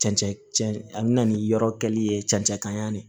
Cɛncɛn cɛn an bɛ na ni yɔrɔ kɛli ye cɛncɛn de